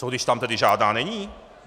Co když tam tedy žádná není?